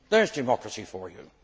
There is democracy for you!